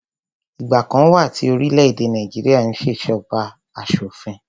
Ìgbà kan wà tí orílẹ̀-èdè Nàìjíríà n ṣé ìṣèjọba asọ̀fin